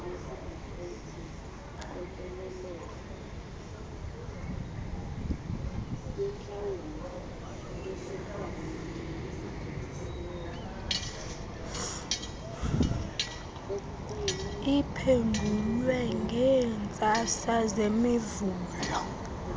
iphendulwe ngeentsasa zemivulo